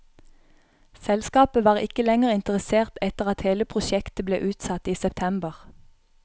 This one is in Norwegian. Selskapet var ikke lenger interessert etter at hele prosjektet ble utsatt i september.